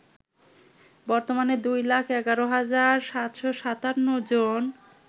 বর্তমানে ২ লাখ ১১ হাজার ৭৫৭জন